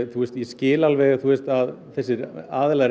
skil alveg að þessir aðilar